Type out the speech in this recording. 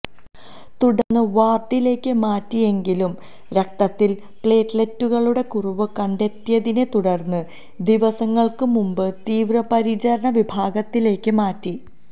തുടർന്ന് വാർഡിലേക്ക് മാറ്റിയെങ്കിലും രക്തത്തിൽ പ്ലേറ്റ്ലറ്റുകളുടെ കുറവ് കണ്ടെത്തിയതിനെ തുടർന്ന് ദിവസങ്ങൾക്ക് മുൻപ് തീവ്രപരിചരണ വിഭാഗത്തിലേക്ക് മാറ്റി